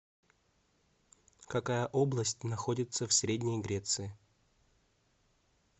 какая область находится в средней греции